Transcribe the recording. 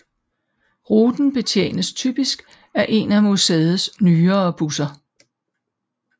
Ruten betjenes typisk af en af museets nyere busser